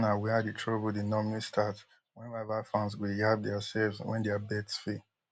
dis na wia di trouble dey normally start wen rival fans go yab diaselves wen dia bets fail